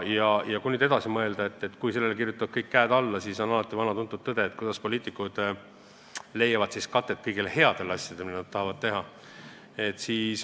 Kui nüüd siit edasi mõelda, et kui kõik käed kirjutavad sellele alla, siis on alati vana tuntud küsimus, kuidas poliitikud leiavad siis katet kõigile headele asjadele, mida nad tahavad teha.